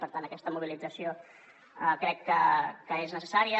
per tant aquesta mobilització crec que és necessària